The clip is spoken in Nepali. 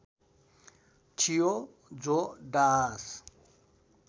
थियो जो दास